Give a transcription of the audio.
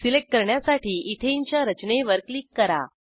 select करण्यासाठी इथेनच्या रचनेवर क्लिक करा